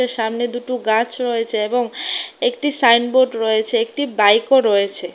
সামনে দুটো গাছ রয়েছে এবং একটি সাইনবোর্ড রয়েছে একটি বাইকও রয়েছে।